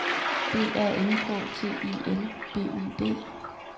B A N K T I L B U D